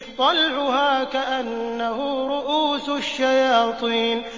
طَلْعُهَا كَأَنَّهُ رُءُوسُ الشَّيَاطِينِ